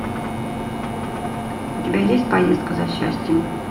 у тебя есть поездка за счастьем